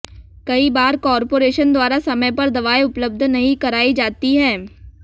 कई बार कॉर्पोरेशन द्वारा समय पर दवाएं उपलब्ध नहीं कराई जाती हैं